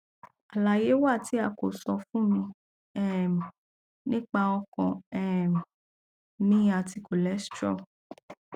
alaye wa ti a ko sọ fun mi um nipa ọkan um mi ati cholesterol